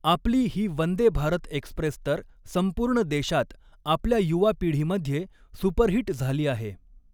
आपली ही वंदे भारत एक्स्प्रेस तर संपूर्ण देशात, आपल्या युवा पीढ़ीमध्ये सुपरहिट झाली आहे.